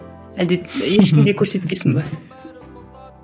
әлде ешкімге көрсетпейсің бе